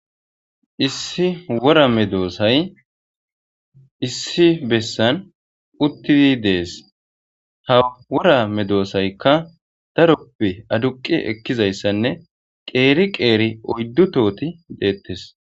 Issi wora medosay issi bessan uthidi dees. Ha wora medosaykka daroppe aduqi ekizayssanne qeri qeri oydu tohothi dethess.